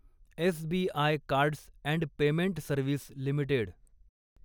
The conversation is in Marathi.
SBI cards and payment service limited